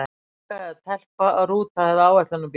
Stúlka eða telpa, rúta eða áætlunarbíll?